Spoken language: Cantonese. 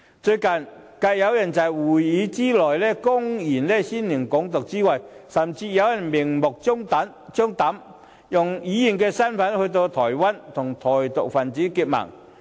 最近，繼有人在議會內公然宣揚"港獨"後，有人甚至明目張膽地以議員身份到訪台灣，與台獨分子結盟。